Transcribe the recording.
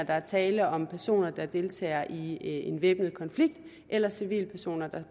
er tale om personer der deltager i en væbnet konflikt eller civilpersoner der